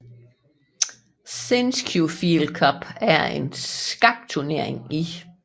Sinquefield Cup er en skakturnering i St